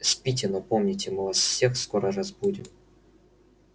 спите но помните мы вас всех скоро разбудим